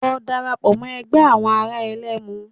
Lọ dara pọ̀ mọ́ ẹgbẹ́ àwọn àwọn ẹ̀lẹ́mu